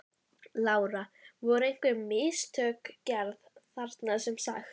Lára: Voru einhver mistök gerð þarna sem sagt?